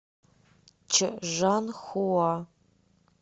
чжанхуа